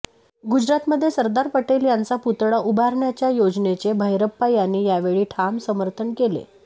गुजरातमध्ये सरदार पटेल यांचा पुतळा उभारण्याच्या योजनेचे भैरप्पा यांनी यावेळी ठाम समर्थन केले